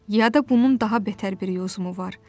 Ya da bunun daha betər bir yozumu var.